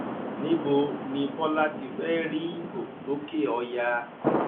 níbo ni bọlá ti fẹẹ rí ìbò lòkèọyà